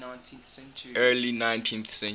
early ninth century